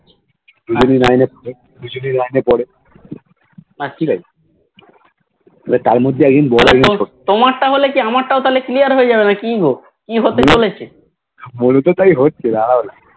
দুইজনেই Nine এ পড়ে হলে তো তাহলে হয়েছে ভাই